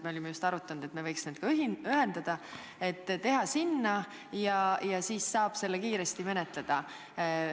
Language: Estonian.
Me olime just arutanud, et me võiks need eelnõud ühendada ja teha ettepaneku selle kohta, siis saab seda kiiresti menetleda.